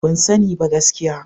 Ban sani ba gaskiya.